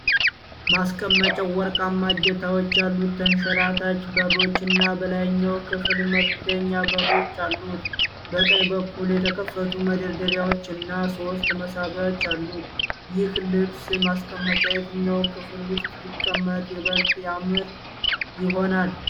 ማስቀመጫው ወርቃማ እጀታዎች ያሉት ተንሸራታች በሮች እና በላይኛው ክፍል መክደኛ በሮች አሉት። በቀኝ በኩል የተከፈቱ መደርደሪያዎች እና ሦስት መሳቢያዎች አሉት። ይህ ልብስ ማስቀመጫ የትኛው ክፍል ውስጥ ቢቀመጥ ይበልጥ ያማረ ይሆናል?